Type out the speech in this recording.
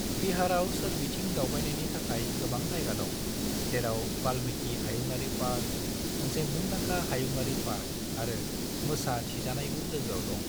बिहारआव सोरबिथिं दावबायनायनि थाखाय गोबां जायगा दं, जेराव वाल्मीकि हायुङारि पार्क, मोनसे मुंदांखा हायुङारि पार्क आरो मोसा थिजानायबो लोगोआव दं।